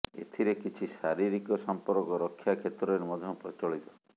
ଏଥିରେ କିଛି ଶାରୀରିକ ସମ୍ପର୍କ ରକ୍ଷା କ୍ଷେତ୍ରରେ ମଧ୍ୟ ପ୍ରଚଳିତ